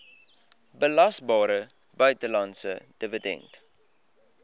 belasbare buitelandse dividend